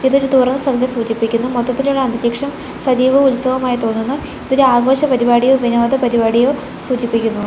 ഇതൊരു തുറ സ്ഥലത്തെ സൂചിപ്പിക്കുന്നു മൊത്തത്തിലുള്ള അന്തരീക്ഷം സജീവ ഉത്സവമായി തോന്നുന്നു ഇതൊരു ആഘോഷ പരിപാടിയോ വിനോദ പരിപാടിയോ സൂചിപ്പിക്കുന്നു.